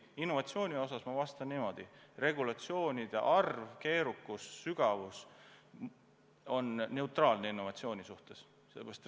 Innovatsiooni osas ma vastan niimoodi: regulatsioonide arv, keerukus ja sügavus mõjuvad innovatsioonile neutraalselt.